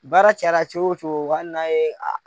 Baara cayara cogo wo cogo ali n'a ye.